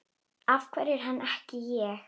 Af hverju hann, ekki ég?